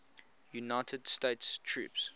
united states troops